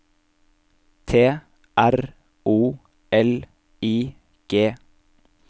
T R O L I G